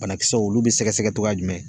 Banakisɛw olu bɛ sɛgɛsɛgɛ cogoya jumɛn